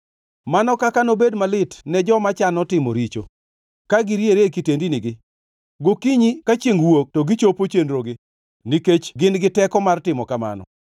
Mano kaka nobed malit ne joma chano timo richo, ka giriere e kitendinigi! Gokinyi ka chiengʼ wuok to gichopo chenrogi nikech gin gi teko mar timo kamano.